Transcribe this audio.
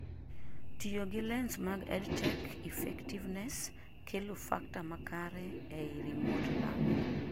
Tiyo gi lens mag EdTech effectiveness, kelo factor makare eii remote learning